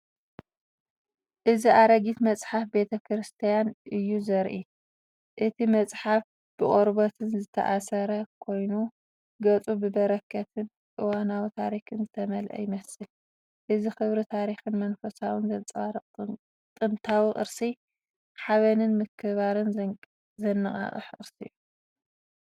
እዚ ኣረጊት መጽሓፍ ቤተ ክርስቲያን እዩ ዘርኢ። እቲ መጽሓፍ ብቆርበት ዝተኣስረ ኮይኑ፡ ገጻቱ ብበረኸትን እዋናዊ ታሪኽን ዝተመልአ ይመስል። እዚ ክብሪ ታሪኽን መንፈሳውነትን ዘንጸባርቕ ጥንታዊ ቅርሲ። ሓበንን ምክብባርን ዘነቓቕሕ ቅርሲ እዩ።